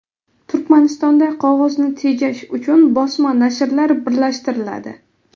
Turkmanistonda qog‘ozni tejash uchun bosma nashrlar birlashtiriladi.